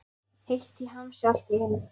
Heitt í hamsi allt í einu.